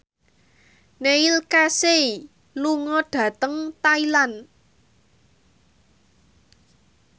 Neil Casey lunga dhateng Thailand